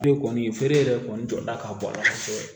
Feere kɔni feere yɛrɛ kɔni jɔda ka bon a la kosɛbɛ